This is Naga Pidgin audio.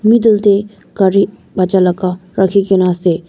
middle teh gari baccha laga rekhi ke na ase.